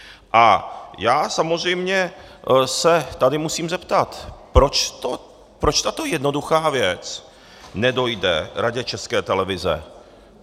A já samozřejmě se tady musím zeptat, proč tato jednoduchá věc nedojde Radě České televize.